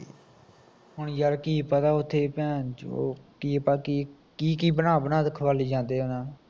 ਯਾਰ ਕੀ ਪਤਾ ਓਥੇ xx ਕੀ ਪਾ ਕੀ ਕੀ ਬਣਾ ਬਣਾ ਕੇ ਖਵਾਲੀ ਜਾਂਦੇ ਉਹਨਾਂ ਨੂੰ